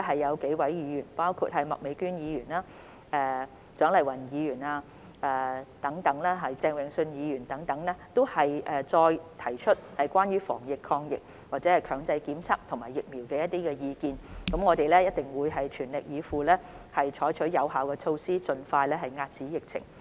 有數位議員，包括麥美娟議員、蔣麗芸議員和鄭泳舜議員等，均在這一節中再次提出關於防疫抗疫、強制檢測和疫苗的意見，我們一定會全力以赴，採取有效措施，盡快遏止疫情。